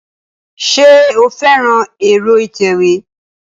Ṣé o fẹ́ran ẹ̀rọ ìtẹ̀wé